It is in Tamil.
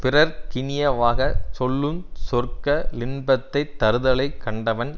பிறர்க் கினியவாகச் சொல்லு சொற்க ளின்பத்தைத் தருதலைக் கண்டவன்